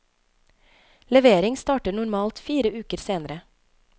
Levering starter normalt fire uker senere.